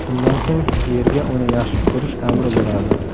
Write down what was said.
Shundan so‘ng yerga uni yaxshi ko‘rish amri bo‘ladi”.